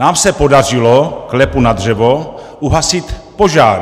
Nám se podařilo, klepu na dřevo, uhasit požár.